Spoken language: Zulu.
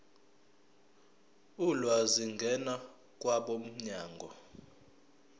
ulwazi ngena kwabomnyango